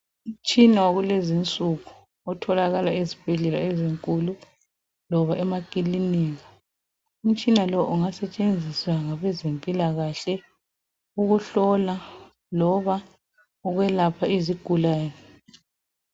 Umtshina wakulezi insuku utholaka ezibhedlela ezinkulu loba emakilinika ,umtshina lo ungasetshenziswa ngabe zempilakahle ukuhlola loba ukwelapha izigulane.